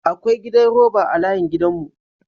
Akwa gidan roba a layin gidan mu.